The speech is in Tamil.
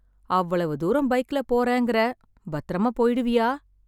அவ்வளவு தூரம் பைக்ல போறேன்கிறே, பத்திரமா போயிடுவியா?